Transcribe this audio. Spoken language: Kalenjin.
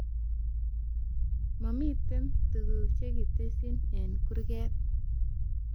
Mamite tuguk chekitesyi eng kurget